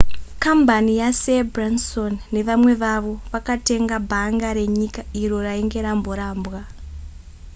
kambani yasir branson nevamwe vavo vakatenga bhanga renyika iro rainge ramborambwa